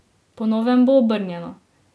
Po novem bo obrnjeno.